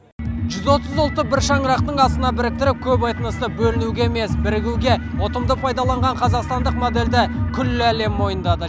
жүз отыз ұлтты бір шаңырақтың астына біріктіріп көп этносты бөлінуге емес бірігуге ұтымды пайдаланған қазақстандық модельді күллі ел мойындады